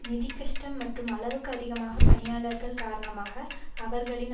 நிதிக்கஷ்டம் மற்றும் அளவுக்கு அதிகமான பணியாளர்கள் காரணமாக அவர்களின்